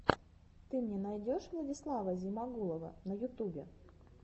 ты мне найдешь владислава зимагулова на ютубе